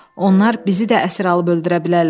Onlar bizi də əsir alıb öldürə bilərlər.